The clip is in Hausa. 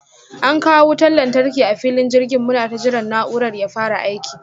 An kawo wutan lantarki a filin jirgin, munata jiran na'urar ya fara aiki.